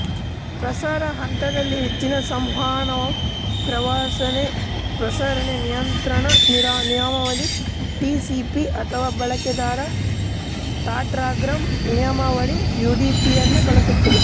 ಪ್ರಸಾರ ಹಂತದಲ್ಲಿ ಹೆಚ್ಚಿನ ಸಂವಹನವು ಪ್ರಸಾರಣೆ ನಿಯಂತ್ರಣ ನಿಯಮಾವಳಿ ಟಿಸಿಪಿ ಅಥವಾ ಬಳಕೆದಾರ ಡಾಟಾಗ್ರಾಂ ನಿಯಮಾವಳಿ ಯುಡಿಪಿಯನ್ನು ಬಳಸುತ್ತದೆ